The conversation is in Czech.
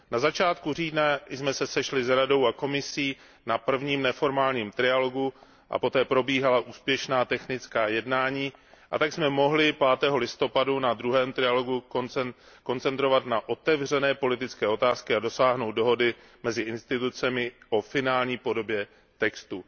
Na začátku října jsme se sešli s Radou a Komisí na prvním neformálním trialogu a poté probíhala úspěšná technická jednání, a tak jsme se mohli 5. listopadu na druhém trialogu koncentrovat na otevřené politické otázky a dosáhnout dohody mezi institucemi o finální podobě textu.